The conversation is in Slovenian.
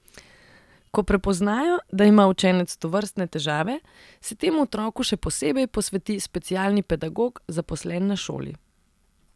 Ko prepoznajo, da ima učenec tovrstne težave, se temu otroku še posebej posveti specialni pedagog, zaposlen na šoli.